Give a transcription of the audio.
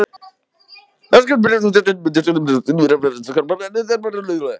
eru ákvæði sem snerta erlend hlutafélög.